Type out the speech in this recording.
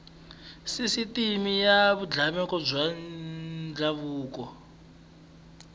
sisiteme ya vululami bya ndhavuko